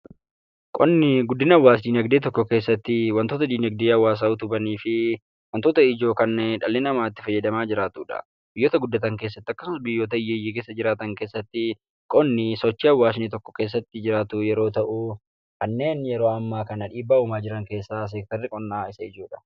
Qonni guddina hawwaas-diinagdee tokko keessatti wantoota diinagdee hawwaasaa utuban fi wantoota ijoo kan dhalli namaa itti fayyadamaa jiraatudha. Biyyoota vuddatan keessatti yookaan biyyoota hiyyeeyyii keessa jiraatan keessatti qonni sochii hawwaasni keesda jiraatu yoo ta’u, kanneen yeroo ammaa kana dhiibbaa uumaa jiran keessaa seektarri qonnaa isa ijoodha.